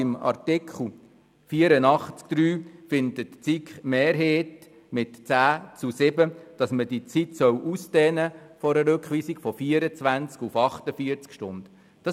Bei Artikel 84 Absatz 3 findet die SiK-Mehrheit mit 10 zu 7 Stimmen, dass man die Zeit einer Rückweisung von 24 auf 48 Stunden ausdehnen soll.